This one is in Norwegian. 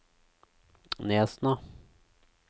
Nesna